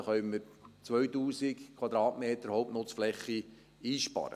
da können wir 2000 Quadratmeter Hauptnutzfläche einsparen.